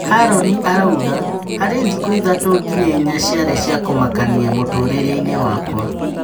Haroni arauga, "Harĩ thikũ ithatũ nginya inya ciarĩ cia kũmakania mũtũrĩre-inĩ wakwa."